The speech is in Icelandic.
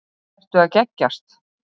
Ertu að geggjast?